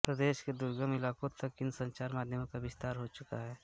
प्रदेश के दुर्गम इलाकों तक इन संचार माध्यमों का विस्तार हो चुका है